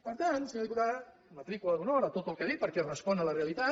per tant senyora diputada matrícula d’honor a tot el que ha dit perquè respon a la realitat